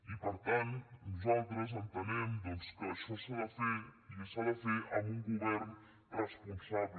i per tant nosaltres entenem doncs que això s’ha de fer i s’ha de fer amb un govern responsable